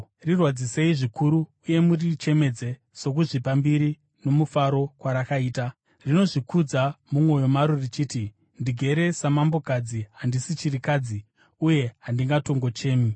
Rirwadzisei zvikuru uye murichemedze sokuzvipa mbiri nomufaro kwarakaita. Rinozvikudza mumwoyo maro richiti, ‘Ndigere samambokadzi; handisi chirikadzi, uye handingatongochemi.’